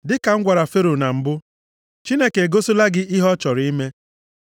“Dịka m gwara Fero na mbụ, Chineke egosila gị ihe ọ chọrọ ime.